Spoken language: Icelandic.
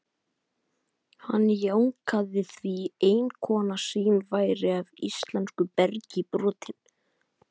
Hann jánkaði því, eiginkona sín væri af íslensku bergi brotin.